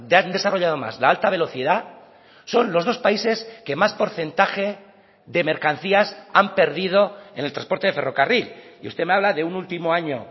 han desarrollado más la alta velocidad son los dos países que más porcentaje de mercancías han perdido en el transporte de ferrocarril y usted me habla de un último año